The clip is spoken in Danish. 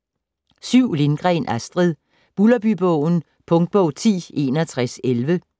Lindgren, Astrid: Bulderbybogen Punktbog 106111